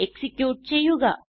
execute ചെയ്യുക